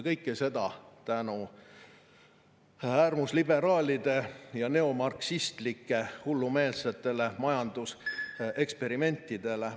Kõike seda tänu äärmusliberaalide ja neomarksistide hullumeelsetele majanduseksperimentidele.